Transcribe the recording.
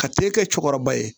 Ka te kɛ cɛkɔrɔba ye